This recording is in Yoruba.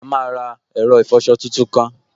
A máa ra ẹ̀rọ ìfọsọ tuntun kan